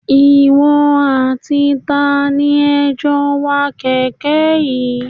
Ìwọ àti tani ẹ jó ń wa kèké yìí?